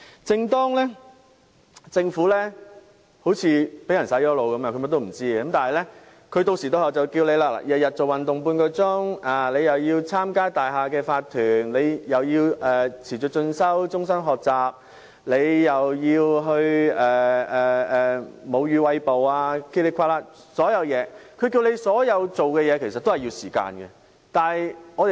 正當政府好像被"洗腦"般甚麼也不知道時，當局定時定候也會提醒我們要每天運動半小時、參與大廈業主立案法團、持續進修、終身學習、餵哺母乳等，但它提醒我們做的所有事情其實也要花上時間。